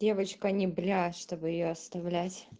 девочка не бля чтобы её оставлять